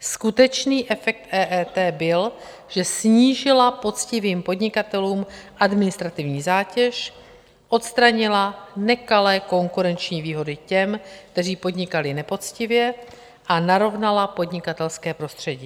Skutečný efekt EET byl, že snížila poctivým podnikatelům administrativní zátěž, odstranila nekalé konkurenční výhody těm, kteří podnikali nepoctivě, a narovnala podnikatelské prostředí.